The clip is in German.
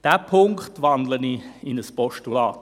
Diesen Punkt wandle ich in ein Postulat.